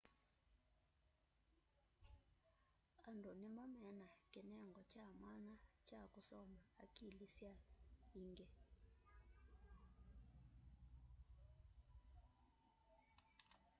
andu nĩmo mena kĩnengo kya mwanya kya kũsoma akili sya iingi